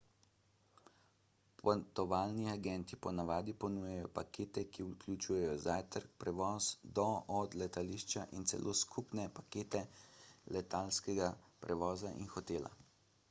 potovalni agenti po navadi ponujajo pakete ki vključujejo zajtrk prevoz do/od letališča in celo skupne pakete letalskega prevoza in hotela